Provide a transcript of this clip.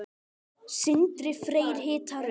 Sindri Freyr hitar upp.